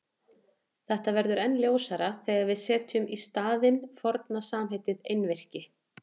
Þetta verður enn ljósara þegar við setjum í staðinn forna samheitið einvirki.